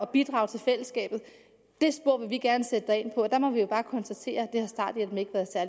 bidrage til fællesskabet det spor vil vi gerne sætte dig ind på der må vi bare konstatere